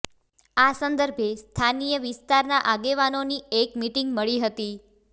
આ સંદર્ભે સ્થાનીય વિસ્તારના આગેવાનોની એક મિટિંગ મળી હતી